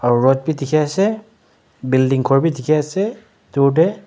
aro rod bi dikhiase building khor Bi dikhiase dur tae.